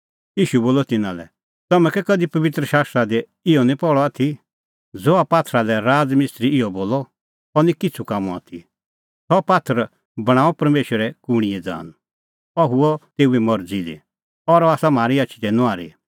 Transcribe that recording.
ईशू बोलअ तिन्नां लै तम्हैं कै कधि पबित्र शास्त्रा दी इहअ निं पहल़अ आथी ज़हा पात्थरा लै राज़ मिस्त्री इहअ बोलअ अह निं किछ़ू कामों आथी सह पात्थर बणांअ परमेशरै कूणींए ज़ान अह हुअ तेऊए मरज़ी दी और अह आसा म्हारी आछी दी नुआहरी